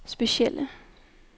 specielle